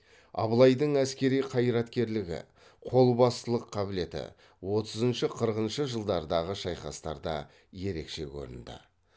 абылайдың әскери қайраткерлігі қолбасылық қабілеті отызыншы қырқыншы жылдардағы шайқастарда ерекше көрінді